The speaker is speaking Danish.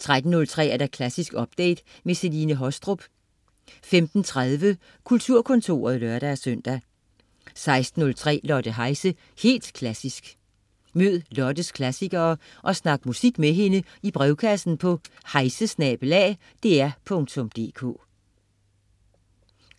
13.03 Klassisk update. Celine Haastrup 15.30 Kulturkontoret (lør-søn) 16.03 Lotte Heise, helt klassisk. Mød Lottes klassikere og snak musik med hende i brevkassen på heise@dr.dk